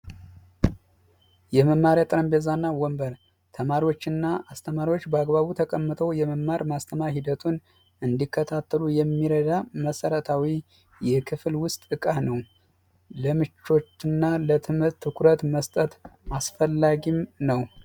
የመማሪያ ጠረጴዛ እና ወንበር ተማሪዎች እና አስተማሪዎች በአግባቡ ተቀምጠው የመማር ማስተማር ሂደቱን እንዲከታተሉ የሚረዳ መሰረታዊ የክፍል ውስጥ እቃ ነው። ለምቾት እና ለትምህርት ትኩረት መስጠት አስፈላጊ ነው።